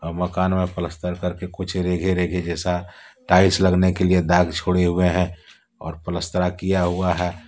मकान में पलस्तर करके कुछ जैसा टाइल्स लगने के लिए दाग जुड़े हुए हैं और पलस्तर किया हुआ है।